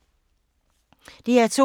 DR2